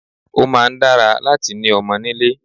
Ó máa ń dára láti ni ọmọ nílé